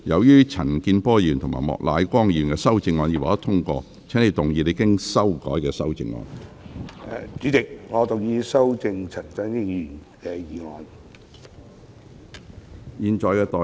黃定光議員，由於陳健波議員及莫乃光議員的修正案已獲得通過，請動議你經修改的修正案。